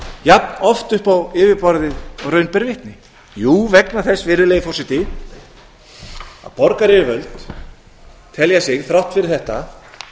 jafn oft upp á yfirborðið og raun ber vitni jú vegna þess virðulegi forseti að borgaryfirvöld telja sig þrátt fyrir þetta